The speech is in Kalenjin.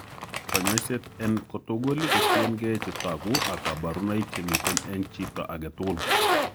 Kanyoiseet eng' tugul kotieng'ee chetogu ak kaborunoik chemiten eng' chito agetugul